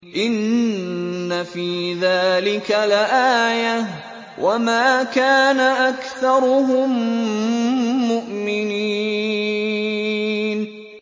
إِنَّ فِي ذَٰلِكَ لَآيَةً ۖ وَمَا كَانَ أَكْثَرُهُم مُّؤْمِنِينَ